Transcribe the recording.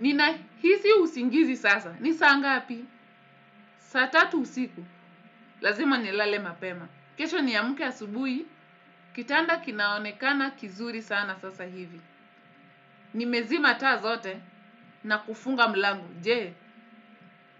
Nina hisi usingizi sasa. Ni saa ngapi? Saa tatu usiku. Lazima nilale mapema. Kesho niamke asubuhi. Kitanda kinaonekana kizuri sana sasa hivi. Nimezima taa zote na kufunga mlango. Jee,